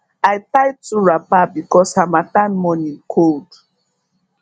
i tie two wrapper because harmattan morning cold